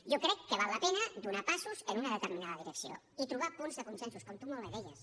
jo crec que val la pena donar passos en una determinada direcció i trobar punts de consensos com tu molt bé deies